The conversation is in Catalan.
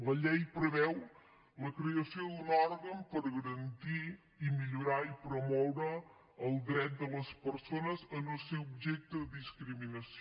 la llei preveu la creació d’un òrgan per garantir i millorar i promoure el dret de les persones a no ser objecte de discriminació